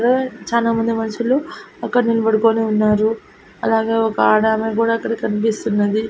చానమంది మనుషులు అక్కడ నిల్బడుకోని ఉన్నారు అలాగే ఒక ఆడామే గూడా అక్కడ కన్పిస్తున్నది.